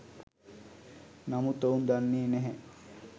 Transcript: නමුත් ඔවුන් දන්නෙ නැහැ